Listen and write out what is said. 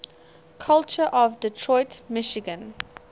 culture of detroit michigan